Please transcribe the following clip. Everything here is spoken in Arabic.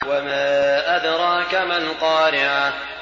وَمَا أَدْرَاكَ مَا الْقَارِعَةُ